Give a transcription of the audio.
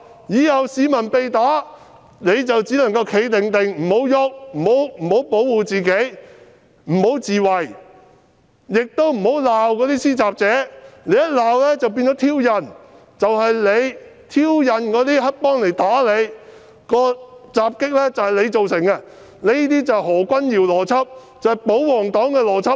以後市民被打，便只能"企定定"，不能動、不能保護自己、不能自衞，亦不能罵施襲者，因為你罵對方便是挑釁，是你自己挑釁黑幫打你，襲擊是你自己造成的，這正是何君堯議員的邏輯，也是保皇黨的邏輯。